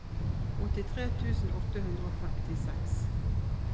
åttitre tusen åtte hundre og femtiseks